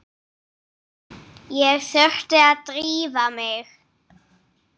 Ég þurfti að drífa mig.